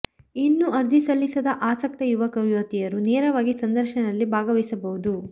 ಇನ್ನೂ ಅರ್ಜಿ ಸಲ್ಲಿಸದ ಆಸಕ್ತ ಯುವಕ ಯುವತಿಯರು ನೇರವಾಗಿ ಸಂದರ್ಶನದಲ್ಲಿ ಭಾಗವಹಿಸಬಹುದು